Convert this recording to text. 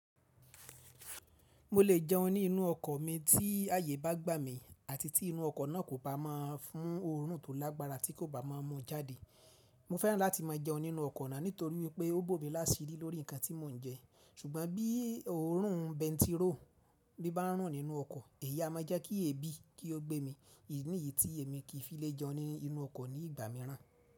Mo lè jẹun nínú ọkọ̀ mi tí ààyè bá gbà mí àti tí inú ọkọ̀ náà kò bá mọ́ fún òórùn tó lágbára tí kò bá mọ̀ mọ́ jáde. Mo fẹ́ràn láti máa jẹun nínú ọkọ̀ náà nítorí wípé ó bó mi lásíì lórí ǹkan tí mò ń jẹ. Ṣùgbọ́n bí òórùn bẹntiróò bí bá ń rùn nínú ọkọ̀ èyí á máa jẹ́ kí èébì kí ó gbé mi. Èyí nìyí tí èmi kì í fi lè jẹun nínú ọkọ̀ ní ìgbà mìíràn.